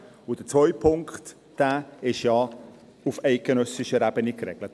Und der zweite Punkt ist ja auch auf eidgenössischer Ebene geregelt.